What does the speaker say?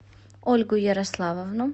ольгу ярославовну